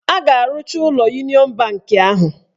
A ga-arụcha ụlọ Uniọn banki ahụ.